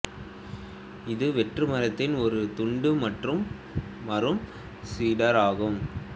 இது வெற்று மரத்தின் ஒரு துண்டு மற்றும் மரம் சிடார் ஆகும்